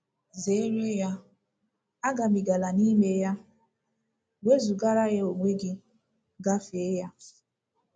Zeere ya, agabigala n’ime ya; wezụgara ya onwe gị, gafee ya. ”